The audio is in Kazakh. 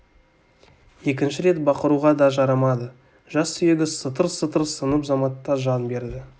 екінші рет бақыруға да жарамады жас сүйегі сытыр-сытыр сынып заматта жан берді